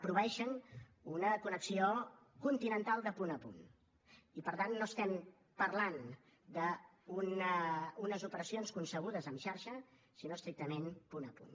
proveeixen una connexió continental de punt a punt i per tant no estem parlant d’unes operacions concebudes en xarxa sinó estrictament de punt a punt